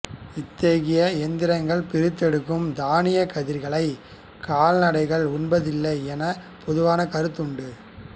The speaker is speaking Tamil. இத்தகைய இயந்திரங்கள் பிரித்தெடுக்கும் தானியக் கதிர்களை கால்நடைகள் உண்பதில்லை என பொதுவாக கருத்து உண்டு